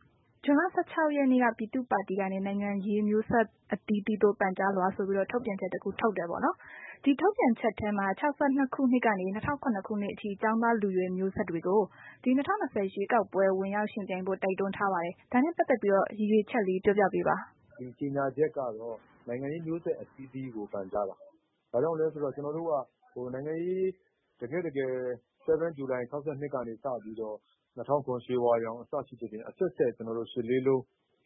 ။ ဇွန်လ ၁၆ ရက်နေ့က ပြည်သူ့ပါတီကနေ နိုင်ငံရေးမျိုးဆက်အသီးသီးသို့ ပန်ကြားလွှာဆိုပြီးတော့ ထုတ်ပြန်ချက် တစ်ခုထုတ်တယ်ပေါ့။ ဒီထုတ်ပြန်ချက်ထဲမှာ ၆၂ ခုနှစ်ကနေ ၂၀၀၇ အထိ ကျောင်းသား၊ လူရွယ် မျိုးဆက်တွေကို ဒီ ၂၀၂၀ ရွေးကောက်ပွဲ ဝင်ရောက်ယှဉ်ပြိုင်ဖို့ တိုက်တွန်းထားပါတယ်။ ဒါနဲ့ ပတ်သက်ပြီး ရည်ရွယ်ချက်လေး ပြောပြပေးပါ။ ဦးကိုကိုကြီး။ ။ ဒီကြေညာချက်ကတော့ နိုင်ငံရေးမျိုးဆက်အသီးသီးကို ပန်ကြားတာ။ ဘာကြောင့်လဲဆိုတော့ ကျနော်တို့က နိုင်ငံရေးကို တကယ့်တကယ် ၇ ဇူလိုင် ၆၂ ကနေ စပြီးတော့ ၂၀၀၇ ရွှေဝါရောင် အစရှိသဖြင့် အဆက်ဆက် ၈၈၈၈ ပေါ့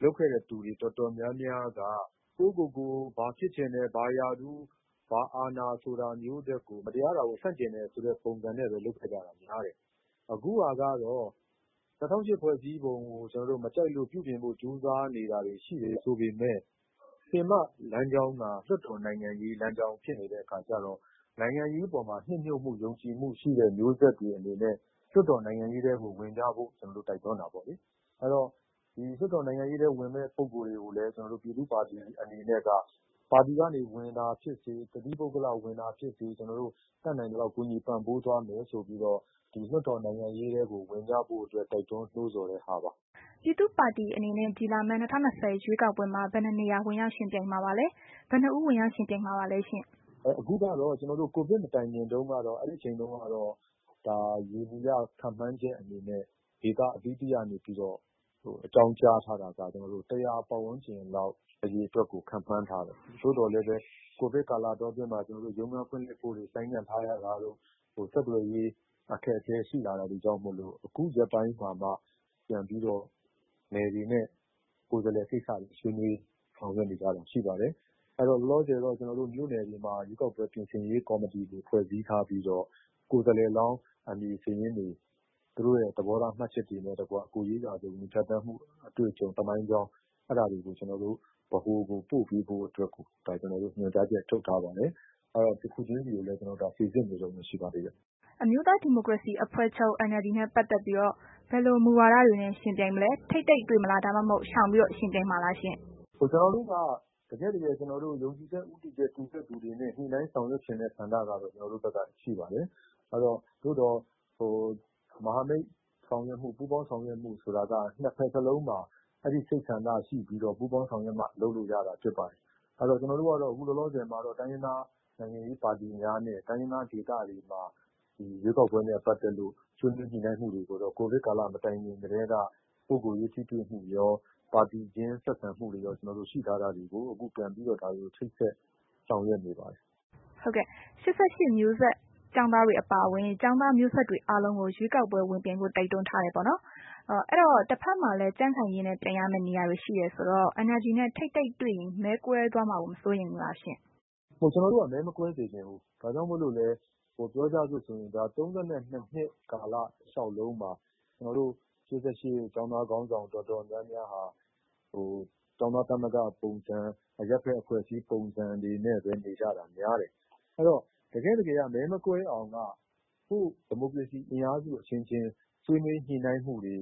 လုပ်ခဲ့တဲ့ သူတွေတော်တော်များများက ဘာလုပ်ချင်တယ်၊ ဘာရာထူး ဘာအာဏာာဆိုတာထက်ကို မတရားတာကို ဆန့်ကျင်တယ်ဆိုတာမျိုးနဲ့ပဲ လုပ်ခဲ့ကြတာ များတယ်။ အခုကတော့ ကျနော်တို့ ၂၀၀၈ ဖွဲ့စည်းပုံကို မကြိုက်လို့ ပြင်ဆင်ဖို့ ကြိုးစားနေကြတာတွေ ရှိတယ်ဆိုပေမဲ့ ပင်မလမ်းကြောင်းက လွှတ်တော်နိုင်ငံရေး လမ်းကြောင်းဖြစ်နေတဲ့ အခါကျတော့ နိုင်ငံရေးပေါ်မှာ နှစ်မြှုပ်ဖို့ ယုံကြည်မှုရှိတဲ့ မျိုးဆက်တွေအနေနဲ့ လွှတ်တော်နိုင်ငံရေးထဲကို ဝင်ကြဖို့ ကျနော်တို့ တိုက်တွန်းတာပေါ့လေ။ အဲ့တော့ လွှတ်တော်နိုင်ငံရေးထဲ ဝင်မယ့် ပုဂ္ဂိုလ်တွေ ကိုလည်း ကျနော်တို့ ပြည်သူ့ပါတီအနေနဲ့က ပါတီကနေ ဝင်တာဖြစ်စေ တသီးပုဂ္ဂလ ဝင်တာဖြစ်စေ ကျနော်တို့ တတ်နိုင်သလောက် ကူညီပံ့ပိုးသွားမယ်ဆိုပြီးတော့ လွှတ်တော်နိုင်ငံရေးထဲကို ဝင်ရောက်ဖို့အတွက် တိုက်တွန်းနှိုးဆော်တဲ့ဟာပါ။ မအိမ့်သန္တာထွန်း။ ။ ပြည်သူပါတီအနေနဲ့ ဒီလာမယ့် ၂၀၂၀ ရွေးကောက်ပွဲမှာ ဘယ်နှစ်နေရာ ဝင်ရောက်ယှဉ်ပြိုင်မှာပါလဲ။ ဘယ်နှစ်ဦး ဝင်ရောက်ယှဉ်ပြိုင်မှာပါလဲရှင့်။ ဦးကိုကိုကြီး။ ။ အင်း.. ကျနော်တို့က ကိုဗစ်မတိုင်ခင်တုန်းကတော့ ယေဘူယျ ခန့်မှန်းချက်အနေနဲ့ ဒေသအသီးသီးကနေ အကြောင်းကြားထားတာကတော့ ၁၀၀ ပတ်ဝန်းကျင်လောက် အရေအတွက်ကို ခန့်မှန်းထားတယ်။ သို့သော်လည်း ကိုဗစ်ကာလအတောအတွင်းမှာ ရုံးခန်းဖွင့်လှစ်ဖို့တွေ ဆိုင်းငံ့ထားရတာတို့၊ ဆက်သွယ်ရေး အခက်အခဲရှိလာတာတွေကြောင့်မို့လို့ ခုရက်ပိုင်းမှာက ပြန်ပြီးတော့ နယ်တွေနဲ့ ကိုယ်စားလှယ်ကိစ္စတွေ ဆွေးနွေးဆောင်ရွက်နေကြတာ ရှိပါတယ်။ အဲ့တော့ ကျနော်တို့ လောလောဆယ်တော့ မြို့နယ်တွေမှာ ရွေးကောက်ပွဲ ပြင်ဆင်ရေး ကော်မတီတွေ ဖွဲ့စည်းထားပြီးတော့ ကိုယ်စားလှယ်လောင်း အမည်စာရင်းတွေ သူတို့ရဲ့ သဘောထားမှတ်ချက်တွေနဲ့တကွ ကိုယ်ရေးရာဇဝင် ဖြတ်သန်းမှု အတွေ့အကြုံ သမိုင်းကြောင်း အဲ့တာတွေကို ကျနော်တို့ ဗဟိုကို ပို့ပေးဖို့အတွက်ကို ညွှန်ကြားချက်ထုတ်ထားပါတယ်။ တစ်ခုချင်းစီကိုလည်း ကျနော်တို့ စိစစ်နေတုန်းပဲ ရှိပါသေးတယ်။ မအိမ့်သန္တာထွန်း။ ။ အမျိုးသားဒီမိုကရေစီအဖွဲ့ချုပ် NLD နဲ့ ပတ်သက်ပြီး ဘယ်လို မူဝါဒမျိုးနဲ့ ယှဉ်ပြိုင်မလဲ။ ထိပ်တိုက်တွေ့ မလား၊ ဒါမှမဟုတ် ရှောင်ပြီးတော့ ယှဉ်ပြိုင်မှာလားရှင့်။ ဦးကိုကိုကြီး။ ။ ကျနော်တို့က တကယ့်တကယ် ယုံကြည်ချက်တူညီတဲ့သူတွေနဲ့ ညှိနှိုင်းဆောင်ရွက်ချင်တဲ့ ဆန္ဒကတော့ ကျနော်တို့မှာ ရှိပါတယ်။ သို့သော် မဟာမိတ်ဆောင်ရွက်မှု၊ ပူးပေါင်းဆောင်ရွက်မှု ဆိုတာက နှစ်ဘက်စလုံးမှာ အဲ့ဒီစိတ်ဆန္ဒရှိပြီးတော့ ပူးပေါင်းဆောင်ရွက်မှ လုပ်လို့ရတာဖြစ်ပါတယ်။ ကျနော်တို့ကတော့ ခုလောလောဆယ်မှာ တိုင်းရင်းသားနိုင်ငံရေးပါတီများနဲ့ တိုင်းရင်းသားဒေသတွေမှာ ရွေးကောက်ပွဲနဲ့ ပတ်သက်လို့ ဆွေးနွေးညှိနှိုင်းမှုတွေကိုတော့ ကိုဗစ်ကာလ မတိုင်ခင်ကတည်းက ပုဂ္ဂိုလ်ရေး ထိတွေ့မှုရော ပါတီချင်း ဆက်ဆံမှုတွေရော ရှိထားတာတွေကို ခုဒါတွေကို ချိတ်ဆက်ဆောင်ရွက်နေပါတယ်။ မအိမ့်သန္တာထွန်း။ ။ ၈၈ မျိုးဆက် ကျောင်းသားတွေအပါအဝင် ကျောင်းသားမျိုးဆက်တွေ အားလုံးကို ရွေးကောက်ပွဲ ဝင်ပြိုင်ဖို့ တိုက်တွန်းထားတယ် ပေါ့နော်။ အဲ့ဒီတော့ တစ်ဘက်မှာလည်း ကြံ့ခိုင်ရေးနှင့် ပြိုင်ရမယ့်နေရာတွေ ရှိတယ်ဆိုတော့ NLD နဲ့ ထိပ်တိုက်တွေ့ရင် မဲကွဲသွားမှာကို မစိုးရိမ်ဘူးလား။ ဦးကိုကိုကြီး။ ။ ကျနော်တို့က မဲ မကွဲစေချင်ဘူး။ ဒါကြောင့်မို့လို့လည်း ၃၂ နှစ် ကာလတစ်လျှောက်လုံးမှာ ကျနော်တို့ ၈၈ ကာလ ကျောင်းသားခေါင်းဆောင်တော်တော်များများဟာ ကျောင်းသားသမဂ္ဂပုံစံ၊ အရပ်ဘက်အဖွဲ့အစည်း ပုံစံတွေနဲ့ပဲ နေကြတာများတယ်။ အဲ့တော့ တကယ့်တကယ်က မဲ မကွဲအောင်က ဒီမိုကရေစီအင်အားစု အချင်းချင်း ဆွေးနွေးညှိနှိုင်းမှုတွေ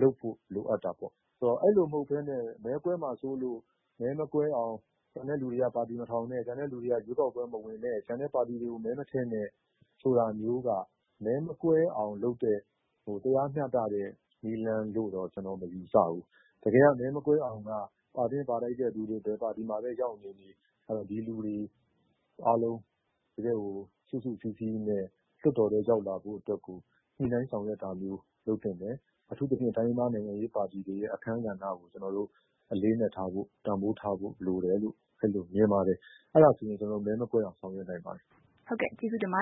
လုပ်ဖို့ လိုအပ်တာပေါ့။ ဆိုတော့ အဲ့လိုမဟုတ်ဘဲနဲ့ မဲကွဲမှာ စိုးလို့ဆိုပြီး မဲမကွဲအောင် ကျန်တဲ့သူတွေက ပါတီမထောင်နဲ့၊ ကျန်တဲ့ သူတွေက ရွေးကောက်ပွဲမဝင်နဲ့၊ ကျန်တဲ့ပါတီတွေကို မဲ မထည့်နဲ့ဆိုတာမျိုးက မဲ မကွဲအောင်လုပ်တဲ့ တရားမျှတတဲ့ နည်းလမ်းလို့တော့ ကျနော်မယူဆဘူး။ တကယ်က မဲ မကွဲအောင်က ပါသင့်ပါထိုက်တဲ့ လူတွေ ဘယ်ပါတီမှာပဲ ရောက်နေနေ ဒီလူတွေအားလုံးကို တကယ့်ကို စုစုစည်းစည်းနဲ့ လွတ်တော်ထဲ ရောက်လာဖို့ ညှိနှိုင်းဆောင်ရွက်တာမျိုး လုပ်သင့်တယ်။ အထူးသဖြင့် တိုင်းရင်းသားနိုင်ငံရေးပါတီတွေရဲ့ အခန်းကဏ္ဍကို အလေးအနက်ထားဖို့ တန်ဖိုးထားဖို့ လိုတယ်လို့ အဲ့လိုမြင်ပါတယ်။ အဲ့ဒါဆိုရင် ကျနော်တို့ မဲ မကွဲအောင် ဆောင်ရွက်နိုင်ပါတယ်။ မအိမ့်သန္တာထွန်း။ ။ ဟုတ်ကဲ့ ကျေးဇူးတင်ပါ